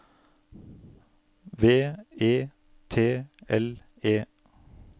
V E T L E